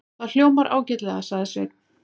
Það hljómar ágætlega, sagði Sveinn.